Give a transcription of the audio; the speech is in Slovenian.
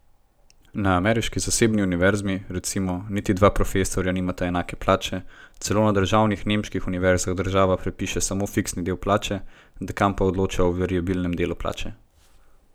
Na ameriški zasebni univerzi, recimo, niti dva profesorja nimata enake plače, celo na državnih nemških univerzah država predpiše samo fiksni del plače, dekan pa odloča o variabilnem delu plače.